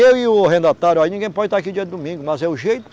Eu e o arrendatário, aí ninguém pode está aqui dia de domingo, mas é o jeito...